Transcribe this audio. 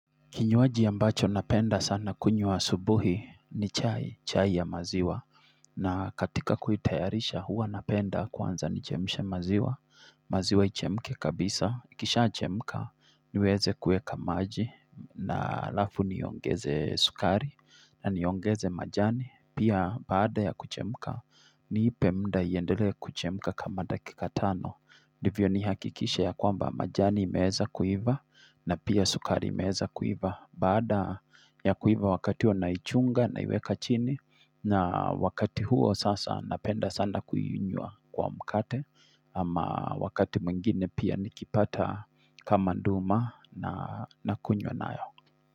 Kinywaji ambacho napenda sana kunywa asubuhi ni chai, chai ya maziwa. Na katika kuitayarisha huwa napenda kwanza nichemshe maziwa, maziwa ichemke kabisa. Ikishachemka niweze kuweka maji na halafu niongeze sukari na niongeze majani. Pia baada ya kuchemka niipe muda iendelee kuchemka kama dakika tano. Ndivyo nihakikishe ya kwamba majani imeweza kuiva na pia sukari imeweza kuiva. Baada ya kuiva wakati huo naichunga naiweka chini na wakati huo sasa napenda sana kuinywa kwa mkate Ama wakati mwingine pia nikipata kama nduma nakunywa nayo.